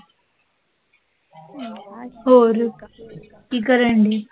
ਹੋਰ ਕਿ ਕਰਣ ਡੇਈ?